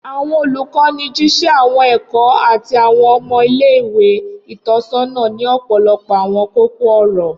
Awọn olukọni jiṣẹ awọn ẹkọ ati awọn ọmọ ile-iwe itọsọna ni ọpọlọpọ awọn koko-ọrọ.